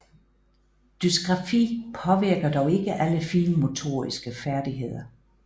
Dysgrafi påvirker dog ikke alle finmotoriske færdigheder